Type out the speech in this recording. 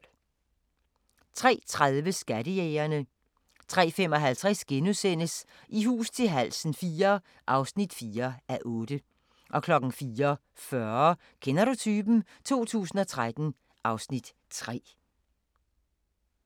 03:30: Skattejægerne 03:55: I hus til halsen IV (4:8)* 04:40: Kender du typen? 2013 (Afs. 3)*